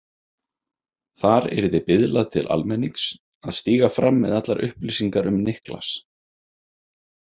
Þar yrði biðlað til almennings að stíga fram með allar upplýsingar um Niklas.